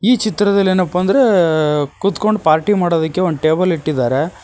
ಈ ಚಿತ್ರದಲ್ಲಿ ಏನಪ್ಪಾ ಅಂದ್ರೆ ಕುತ್ಕೊಂಡು ಪಾರ್ಟಿ ಮಾಡೋದಕ್ಕೆ ಒಂದು ಟೇಬಲ್ ಇಟ್ಟಿದ್ದಾರೆ.